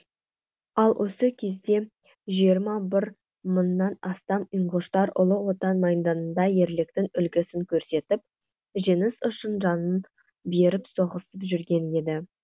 ал осы кезде жиырма бір мыңнан астам ингуштар ұлы отан майданында ерліктің үлгісін көрсетіп жеңіс үшін жанын беріп соғысып жүрген еді